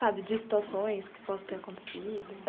Sabe, de situações que possa ter acontecido?